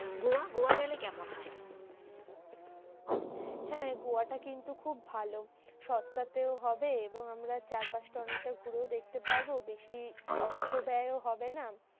গোয়া, গোয়া গেলে কেমন হয়? হ্যাঁ গোয়াটা কিন্তু খুব ভালো। সস্তাতেও হবে, এবং আমরা চারপাশটা অনেকটা ঘুরেও দেখতে পারবো। বেশি অর্থব্যয়ও হবে না।